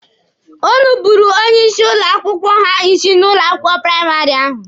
O nupuuru onye nkuzi ha isi n'ụlọ akwụkwọ praịmarị ahụ.